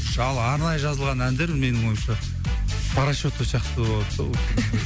ал арнайы жазылған әндер менің ойымша по расчету сияқты болады да